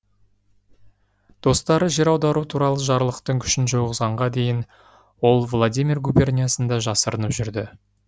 достары жер аудару туралы жарлықтың күшін жойғызғанға дейін ол владимир губерниясында жасырынып жүрді